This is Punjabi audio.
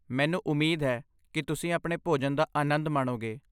ਮੈਨੂੰ ਉਮੀਦ ਹੈ ਕਿ ਤੁਸੀਂ ਆਪਣੇ ਭੋਜਨ ਦਾ ਆਨੰਦ ਮਾਣੋਗੇ।